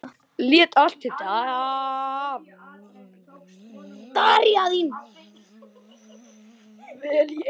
Lét allt dável í eyrum.